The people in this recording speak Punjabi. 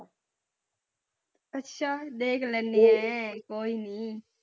ਅੱਛਾ ਦੇਖ ਲੈਨੀ ਹੈ ਕੋਈ ਨੀ।